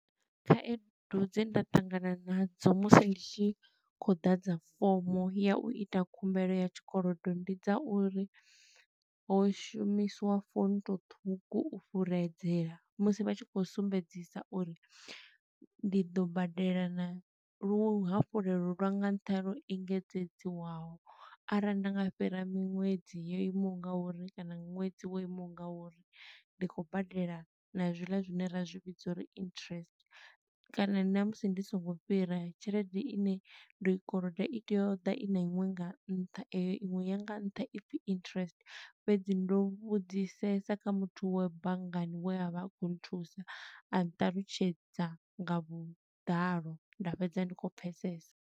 Khaedu dze nda ṱangana nadzo musi ndi tshi khou ḓadza fomo ya u ita khumbelo ya tshikolodo, ndi dza uri ho shumiswa fonto ṱhukhu u fhuredzela. Musi vha tshi khou sumbedzisa uri ndi ḓo badela na luhafhulelo lwa nga nṱha lwo engedzedzwaho, arali nda nga fhira miṅwedzi yo imaho nga uri kana ṅwedzi wo imaho nga uri. Ndi khou badela na zwi ḽa zwine ra zwi vhidza uri interest, kana na musi ndi songo fhira, tshelede ine ndo i koloda i tea u ḓa i na iṅwe nga nṱha, eyo iṅwe ya nga nṱha, i pfi interest. Fhedzi ndo vhudzisesa kha muthu wea banngani we a vha a khou nthusa, a nṱalutshedza nga vhuḓalo, nda fhedza ndi khou pfesesa.